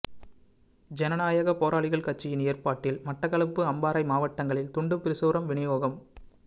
ஜனநாயக போராளிகள் கட்சியின் ஏற்பாட்டில் மட்டக்களப்பு அம்பாறை மாவட்டங்களில் துண்டுப்பிரசுரம் வினியோகம்